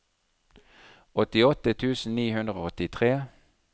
åttiåtte tusen ni hundre og åttitre